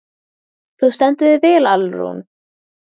Þú stendur þig vel, Alrún!